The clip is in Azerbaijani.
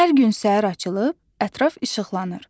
Hər gün səhər açılıb, ətraf işıqlanır.